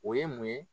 O ye mun ye